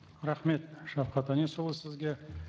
рахмет шавхат әнесұлы сізге